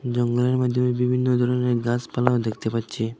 জঙ্গলের মধ্যে বিভিন্ন ধরনের গাছপালাও দেখতে পাচ্ছি।